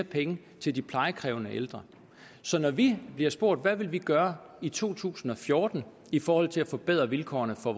penge til de plejekrævende ældre så når vi bliver spurgt hvad vi vil gøre i to tusind og fjorten i forhold til at forbedre vilkårene for